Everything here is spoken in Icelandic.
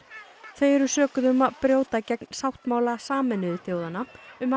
þau eru sökuð um að brjóta gegn sáttmála Sameinuðu þjóðanna um að